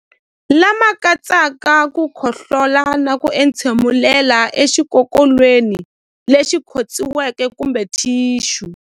Lama katsaka ku khohlola na ku entshemulela exikokolweni lexi khotsiweke kumbe thixu.